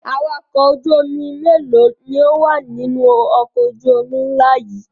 Awakọ̀ ojú-omi mélòó ni ó wà nínú ọkọ̀ ojú-omi ńlá yìí?